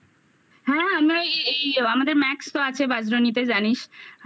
হ্যাঁ আমরা এই এই আমাদের max তো আছে বাঁশদ্রোণীতে জানিস